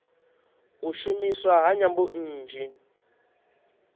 u shumiswa ha nyambo nnzhi